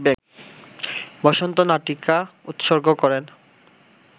বসন্ত নাটিকা উৎসর্গ করেন